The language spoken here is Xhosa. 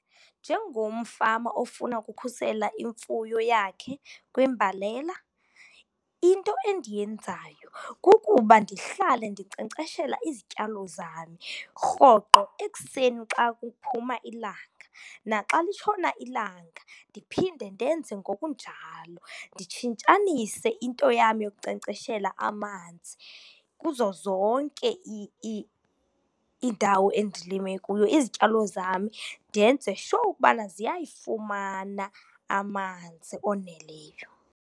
Njengomfama ofuna ukukhusela imfuyo yakhe kwimbalela, into endiyenzayo kukuba ndihlale ndinkcenkceshela izityalo zami rhoqo ekuseni xa kuphuma ilanga. Naxa litshona ilanga, ndiphende ndenze ngokunjalo. Nditshintshanise into yam yokunkcenkcseshela amanzi kuzo zonke iindawo endilime kuyo izityalo zami, ndenze sure ukuba ziyayifumana amanzi oneleyo.